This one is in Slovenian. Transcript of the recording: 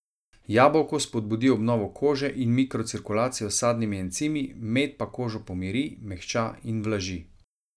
Jabolko spodbudi obnovo kože in mikrocirkulacijo s sadnimi encimi, med pa kožo pomiri, mehča in vlaži.